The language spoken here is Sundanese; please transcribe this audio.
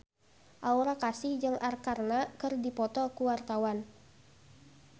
Aura Kasih jeung Arkarna keur dipoto ku wartawan